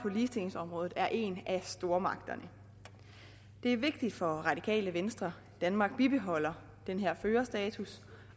på ligestillingsområdet er en af stormagterne det er vigtigt for radikale venstre at danmark bibeholder den her førerstatus